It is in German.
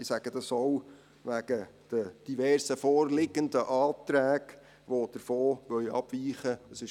Ich sage das auch wegen der diversen vorliegenden Anträgen, die davon abweichen wollen.